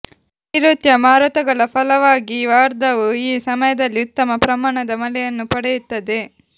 ನೈರುತ್ಯ ಮಾರುತಗಳ ಫಲವಾಗಿ ವಾರ್ಧಾವು ಈ ಸಮಯದಲ್ಲಿ ಉತ್ತಮ ಪ್ರಮಾಣದ ಮಳೆಯನ್ನು ಪಡೆಯುತ್ತದೆ